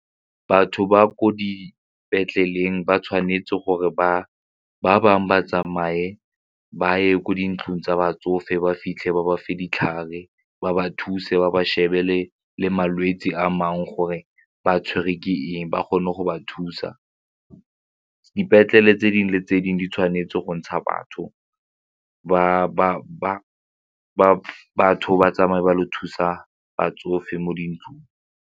Batho ba ko dipetleleng ba tshwanetse gore ba bangwe ba tsamaye ba ye ko dintlong tsa batsofe ba fitlhe ba ba fa ditlhare ba ba thuse ba ba shebele le malwetse a mangwe gore ba tshwerwe ke eng ba kgone go ba thusa dipetlele tse dingwe le tse dingwe di tshwanetse go ntsha batho ba bangwe ba batho ba tsamaye ba ile go thusa batsofe mo dintlong.